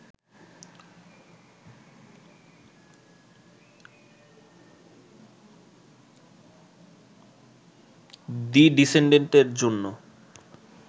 the ডিসেনডেন্ট-এর জন্য